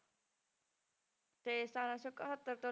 ਤੇ ਸਤਾਰਾਂ ਸੌ ਇਕਹੱਤਰ ਤੋਂ